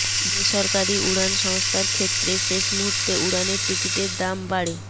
বেসরকারি উড়ান সংস্থার ক্ষেত্রে শেষ মুহুর্তে উড়ানের টিকিটের দাম বাড়ে